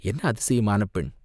என்ன அதிசயமான பெண்?